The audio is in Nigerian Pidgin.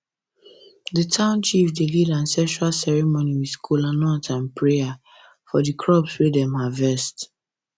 the town chief dey lead ancestral ceremony with kola nut and prayer for the crops wey dem harvest